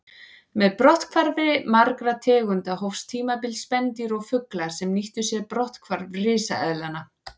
Með brotthvarfi margra tegunda hófst tímabil spendýra og fugla sem nýttu sér brotthvarf risaeðlanna.